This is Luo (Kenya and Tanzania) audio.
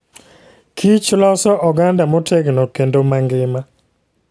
kich loso oganda motegno kendo mangima.